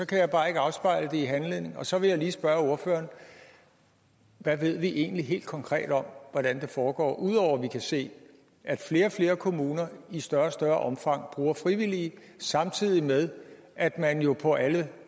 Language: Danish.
kan bare ikke afspejle den i handlingen så vil jeg lige spørge ordføreren hvad ved vi egentlig helt konkret om hvordan det foregår ud over at vi kan se at flere og flere kommuner i større og større omfang bruger frivillige samtidig med at man jo på alle